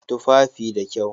Tufafi da kyau